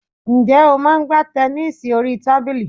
Ǹjẹ́ o máa ń gbá tẹnísì orí tábìlì?